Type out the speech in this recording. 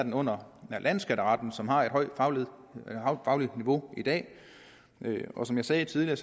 ind under landsskatteretten som har et højt fagligt niveau i dag og som jeg sagde tidligere